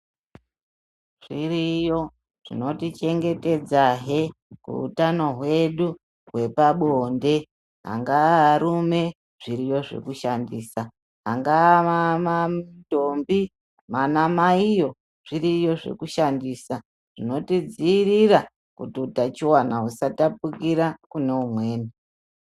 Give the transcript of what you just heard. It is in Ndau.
Zviriyo zvinotichengetedza hhe hutano hwedu hwepabonde. Angava varume, zviriyo zvokushandisa. Angava mantombi, manamayiyo zviriyo zvekushandisa. Zvinotidzirira kutu hutachiwana husatapukira kune umweni.